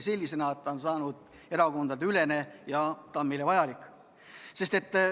See on erakondadeülene ja see on meile vajalik.